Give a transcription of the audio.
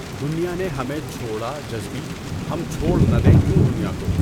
دنیا نے ہمیں چھوڑا جذبؔی ہم چھوڑ نہ دیں کیوں دنیا کو